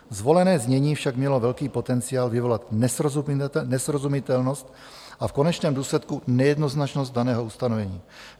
Zvolené znění však mělo velký potenciál vyvolat nesrozumitelnost a v konečném důsledku nejednoznačnost daného ustanovení.